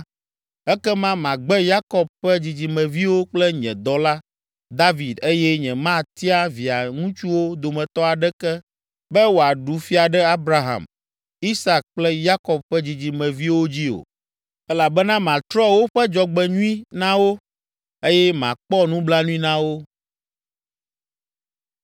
ekema magbe Yakob ƒe dzidzimeviwo kple nye dɔla, David eye nyematia via ŋutsuwo dometɔ aɖeke be wòaɖu fia ɖe Abraham, Isak kple Yakob ƒe dzidzimeviwo dzi o, elabena matrɔ woƒe dzɔgbenyui na wo, eye makpɔ nublanui na wo.”